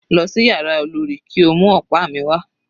Lọ sí yàrá olorì kí o mú ọ̀pá mi wà.